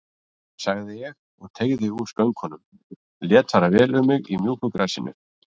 sagði ég og teygði úr skönkunum, lét fara vel um mig í mjúku grasinu.